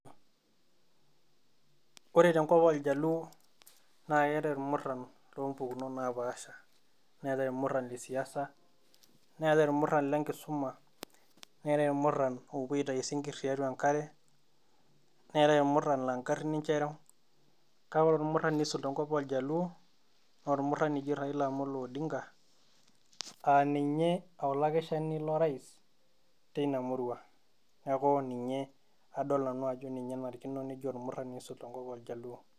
Ore tenkop ooljaluo naa keetai ilmuran loompukunot naapasha neetaii irmuran lesiasa neetai irmuran lenkisuma neetai irmuran oopuo aitayu isinkit tiatua enkare neetai irmuran laa inkarin ninche ereu kake ore irmuran oisul tenkop ooljaluo naa ormuranj oji Raila Amolo Odinga, aaa ninye olakeshani lorais teina mura neeku ninye adon nanu ajo ninye enarikino neji ormurani oisul enkop ooljaluo.